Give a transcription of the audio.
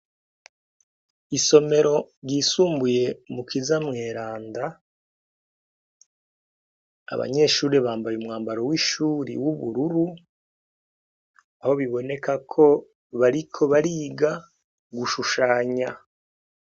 Isomero ry' isumbuye mukiza mweranda abanyeshuri bambaye umwambaro w' ishuri w' ubururu aho biboneka ko bariko bariga gucapa.